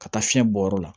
Ka taa fiɲɛ bɔ yɔrɔ la